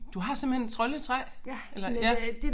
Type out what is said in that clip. Du har simpelthen et troldetræ eller ja